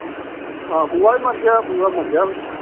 ਹਾਂ, ਬੂਆ ਵੀ ਮਰ ਗਿਆ, ਬੂਆ ਮਰ ਗਿਆ।